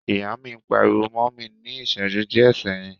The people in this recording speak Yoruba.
Ìyá mi pariwo mọ́ mi ní ìṣẹjú díẹ̀ sẹ́yìn.